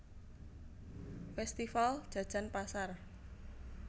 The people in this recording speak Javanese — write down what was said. Festival Jajan Pasar